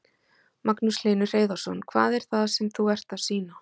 Magnús Hlynur Hreiðarsson: Hvað er það sem þú ert að sýna?